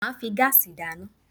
Máà fi gáàsì dáná